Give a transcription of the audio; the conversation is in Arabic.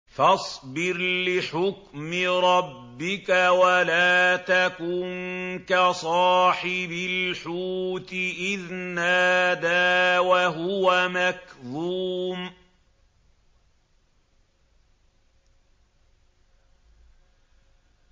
فَاصْبِرْ لِحُكْمِ رَبِّكَ وَلَا تَكُن كَصَاحِبِ الْحُوتِ إِذْ نَادَىٰ وَهُوَ مَكْظُومٌ